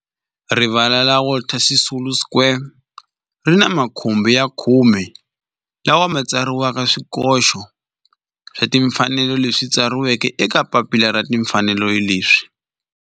Rivala ra Walter Sisulu Square ri ni makhumbi ya khume lawa ma tsariweke swikoxo swa timfanelo leswi tsariweke eka papila ra timfanelo leswi.